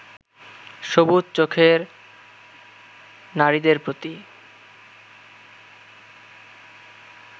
সবুজ চোখের নারীদের প্রতি